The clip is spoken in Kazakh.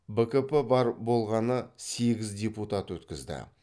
бкп бар болғаны сегіз депутат өткізді